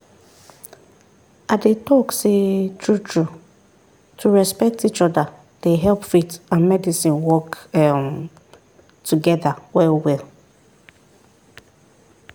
i dey talk sey true-true to respect each other dey help faith and medicine work um together well well.